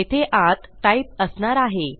येथे आत टाइप असणार आहे